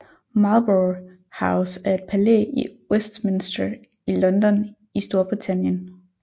Marlborough House er et palæ i Westminster i London i Storbritannien